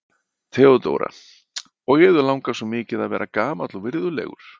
THEODÓRA: Og yður langar svo mikið að vera gamall og virðulegur.